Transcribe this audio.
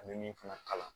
A bɛ min fana kalan